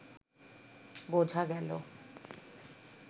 বোঝা গেল